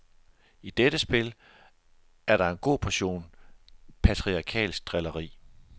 I dette spil er der en god portion patriarkalsk drilleri.